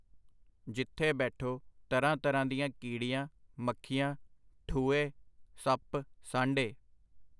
ਜਿਥੇ ਬੈਠੋ, ਤਰ੍ਹਾਂ ਤਰ੍ਹਾਂ ਦੀਆਂ ਕੀੜੀਆਂ, ਮੱਖੀਆਂ, ਠੁਏਂ, ਸੱਪ, ਸਾਂਢੇ.